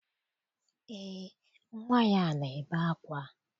Eé, nnwa ya na-ebe ákwá.